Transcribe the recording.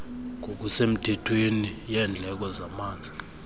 ngokusemthethweni yendleko zamanzi